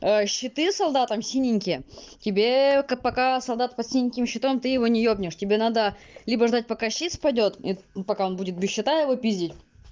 щиты солдатам синенькие тебе как пока солдат под синеньким щитом ты его не ёбнешь тебе надо либо ждать пока щит спадёт и пока он будет без щита его пиздить